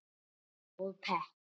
Unnar: Og pepp.